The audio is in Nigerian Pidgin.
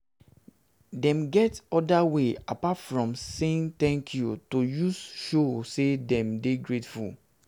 dem get oda ways apart apart from saying 'thank you' to use show say you de grateful